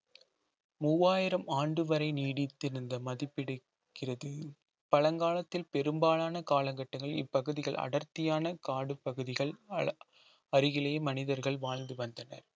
மூவாயிரம் ஆண்டு வரை நீடித்திருந்த மதிப்பிடக்கிறது பழங்காலத்தில் பெரும்பாலான காலகட்டங்களில் இப்பகுதிகள் அடர்த்தியான காடு பகுதிகள் அருகிலேயே மனிதர்கள் வாழ்ந்து வந்தனர்